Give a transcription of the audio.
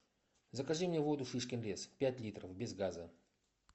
закажи мне воду шишкин лес пять литров без газа